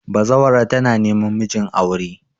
bazawarar tana neman mijin aure